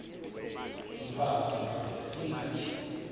mfaz indod ingaty